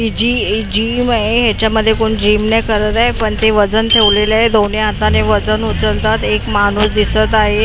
हि जी एक जिम आहे याच्यामध्ये कोण जिम नाही करत आहे पण ते वजन ठेवलेलं आहे दोन्ही हाताने वजन उचलतात एक माणूस दिसत आहे.